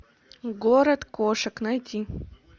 город кошек найти